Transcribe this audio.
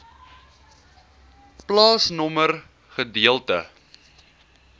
plaasnommer gedeelte